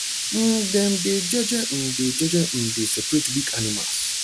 um dem dey jeje um dey jeje um dey separate weak animals